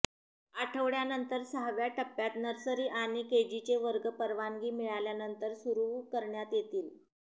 आठवड्यांनंतर सहाव्या टप्प्यात नर्सरी आणि केजीचे वर्ग परवानगी मिळाल्यानंतर सुरू करण्यात येतील